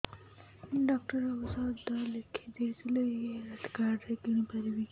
doctor ଔଷଧ ଲେଖିଦେଇଥିଲେ ଏଇ ହେଲ୍ଥ କାର୍ଡ ରେ କିଣିପାରିବି